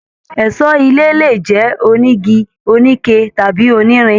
Ẹṣọ ilé lè jẹ onígí, onike, tàbí onírin.